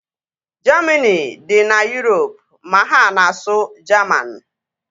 Jamini dị na Yurop ma ha na-asụ Jaman